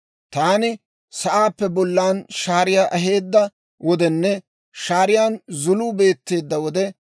Taani sa'aappe bollan shaariyaa aheedda wodenne shaariyaan zuluu beetteedda wode,